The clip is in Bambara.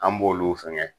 An b'olu fɛngɛ